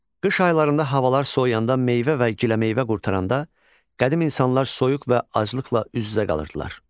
Qış aylarında havalar soyuyanda meyvə və giləmeyvə qurtaranda, qədim insanlar soyuq və aclıqla üz-üzə qalırdılar.